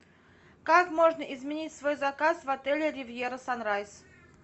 как можно изменить свой заказ в отеле ривьера санрайз